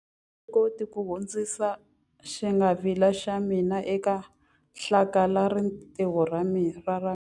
A ndzi koti ku hundzisa xingwavila xa mina eka hlakalarintiho ra ra mina.